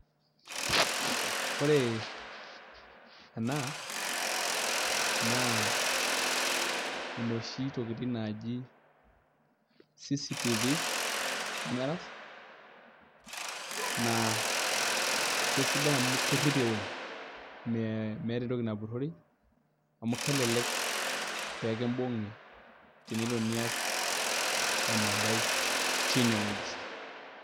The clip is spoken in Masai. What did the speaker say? Ore ena naa enoshi tokitin naaji cctv(s) cameras naa kesidan amuu kerip eweji, meeta entoki napurori amu kelelek pekibung'i tenelo nias emodai teneweji.